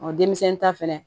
denmisɛnnin ta fɛnɛ